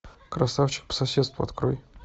красавчик по соседству открой